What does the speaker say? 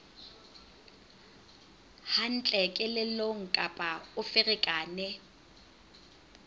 hantle kelellong kapa o ferekane